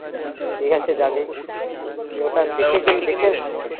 ঠিক আছে যাবি